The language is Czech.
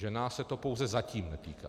Že nás se to pouze zatím netýká.